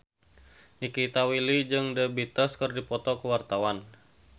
Nikita Willy jeung The Beatles keur dipoto ku wartawan